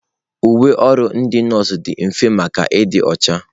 Uwe ọrụ ndị nọọsụ dị mfe maka ịdị ọcha.